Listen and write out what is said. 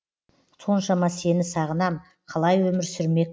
соншама сені сағынам қалай өмір сүрмекпін